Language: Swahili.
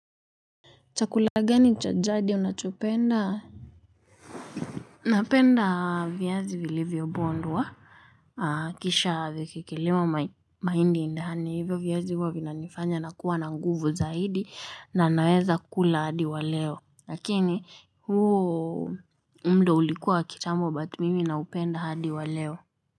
Chakula gani cha jadi unachopenda? Napenda viazi vilivyobondwa. Kisha vikiekelewa mahindi ndani hivyo viazi huwa vinanifanya nakuwa na nguvu zaidi na naweza kula hadi wa leo. Lakini huo muda ulikuwa wa kitambo but mimi naupenda hadi wa leo.